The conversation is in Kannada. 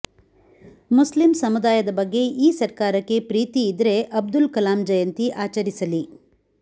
ಮುಸ್ಲಿಂ ಸಮುದಾಯದ ಬಗ್ಗೆ ಈ ಸರ್ಕಾರಕ್ಕೆ ಪ್ರೀತಿ ಇದ್ರೆ ಅಬ್ದುಲ್ ಕಲಾಂ ಜಯಂತಿ ಆಚರಿಸಲಿ